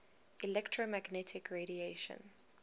electromagnetic radiation